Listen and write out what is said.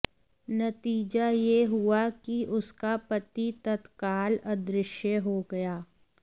नतीजा यह हुआ कि उसका पति तत्काल अदृश्य हो गया